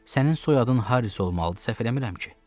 Sənin soyadın Haris olmalıdır, səhv eləmirəm ki?